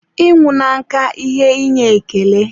ịnwụ na nka ihe inye ekele.